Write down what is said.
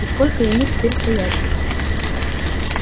и сколько ему теперь стоять тут